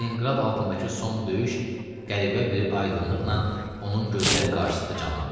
Stalinqrad altındakı son döyüş qəribə bir aydınlıqla onun gözləri qarşısında canlandı.